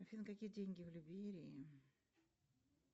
афина какие деньги в либерии